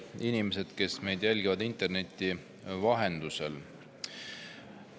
Head inimesed, kes meid jälgivad interneti vahendusel!